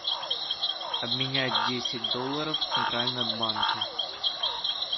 обменять десять долларов в центральном банке